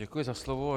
Děkuji za slovo.